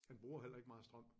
Den bruger heller ikke meget strøm